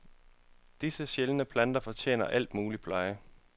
Disse sjældne planter fortjener al mulig pleje.